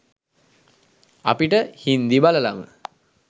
අපිට හින්දි බලලම